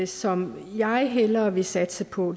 som jeg hellere vil satse på